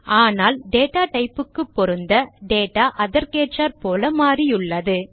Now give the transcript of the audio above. ஆனால் data type க்கு பொருந்த டேட்டா அதற்கேற்றாற்போல மாறியுள்ளது